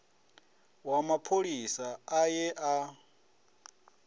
wa mapholisa a ye a